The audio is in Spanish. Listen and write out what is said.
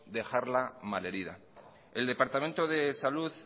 dejarla malherida el departamento de salud